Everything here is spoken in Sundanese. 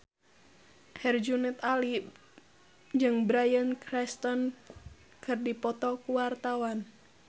Herjunot Ali jeung Bryan Cranston keur dipoto ku wartawan